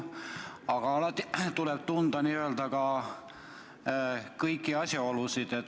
Aga alati tuleb n-ö tunda kõiki asjaolusid.